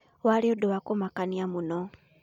Warĩ ũndũ wa kũmakania mũno